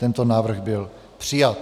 Tento návrh byl přijat.